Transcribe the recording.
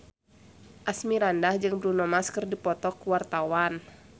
Asmirandah jeung Bruno Mars keur dipoto ku wartawan